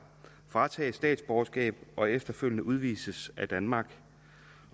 fratages statsborgerskab og efterfølgende udvises af danmark